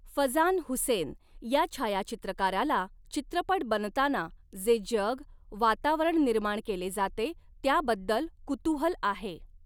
फझान हुसेन या छायाचित्रकाराला चित्रपट बनताना जे जग, वातावरण निर्माण केले जाते, त्याबद्दल कुतूहल आहे.